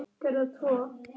Svo skildi leiðir um stund.